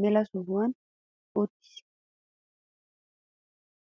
mela sohuwan uttis.